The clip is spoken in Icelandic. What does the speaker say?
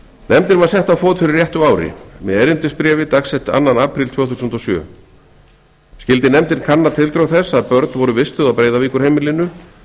nefndin var sett á fót fyrir réttu ári með erindisbréfi dags annan apríl tvö þúsund og sjö skyldi nefndin kanna tildrög þess að börn voru vistuð á breiðavíkurheimilinu